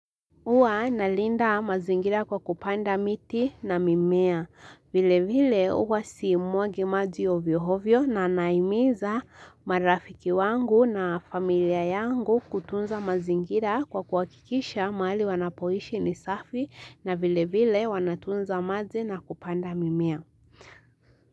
Huwa na linda mazingira kwa kupanda miti na mimea, vile vile huwa simwagi maji oviyo hovyo na naimiza marafiki wangu na familia yangu kutunza mazingira kwa kuwakikisha mahali wanapoishi ni safi na vile vile wanatunza maji na kupanda mimea.